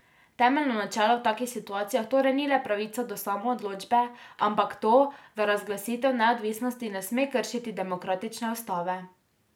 Temeljno načelo v takih situacijah torej ni le pravica do samoodločbe, ampak to, da razglasitev neodvisnosti ne sme kršiti demokratične ustave.